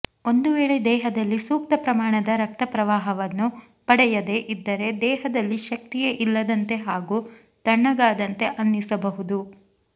ಒಂದು ವೇಳೆ ದೇಹದಲ್ಲಿ ಸೂಕ್ತ ಪ್ರಮಾಣದ ರಕ್ತಪ್ರವಾಹವನ್ನು ಪಡೆಯದೇ ಇದ್ದರೆ ದೇಹದಲ್ಲಿ ಶಕ್ತಿಯೇ ಇಲ್ಲದಂತೆ ಹಾಗೂ ತಣ್ಣಗಾದಂತೆ ಅನ್ನಿಸಬಹುದು